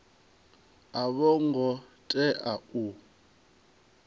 a vho ngo tea u